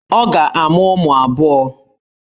Ọ ga-amụ ụmụ abụọ.